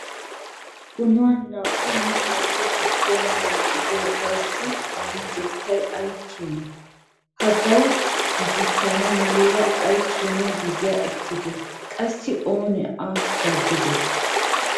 Qunuuna naa"u mittappe giduwan wottidoogassi aahotettay ay keene? Hagaa giigissanaw muleera ay keena giziya ekkide? Qassi oonee a daddiday ?